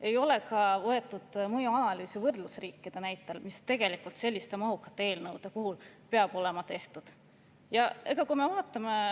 Ei ole tehtud mõjuanalüüsi ka võrdlusriikide näitel, mis tegelikult selliste mahukate eelnõude puhul peaks olema tehtud.